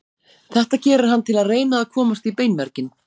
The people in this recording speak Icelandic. Þetta gerir hann til að reyna að komast í beinmerginn.